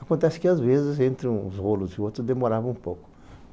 Acontece que, às vezes, entre uns rolos e outros, demorava um pouco.